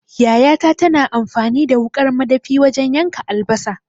Yayata tana amfani da wuƙar madafi wajan yanka albasa